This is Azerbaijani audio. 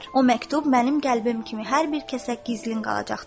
O məktub mənim qəlbim kimi hər bir kəsə gizlin qalacaqdır.